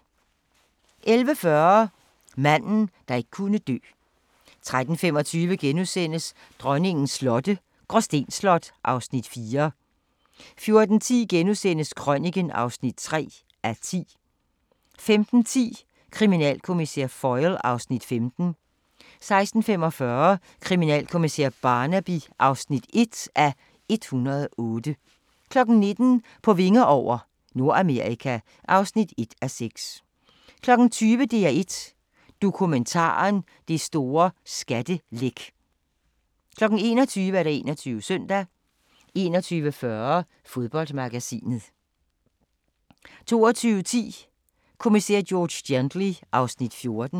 11:40: Manden, der ikke kunne dø 13:25: Dronningens slotte – Gråsten Slot (Afs. 4)* 14:10: Krøniken (3:10)* 15:10: Kriminalkommissær Foyle (Afs. 15) 16:45: Kriminalkommissær Barnaby (1:108) 19:00: På vinger over – Nordamerika (1:6) 20:00: DR1 Dokumentaren: Det store skattelæk 21:00: 21 Søndag 21:40: Fodboldmagasinet 22:10: Kommissær George Gently (Afs. 14)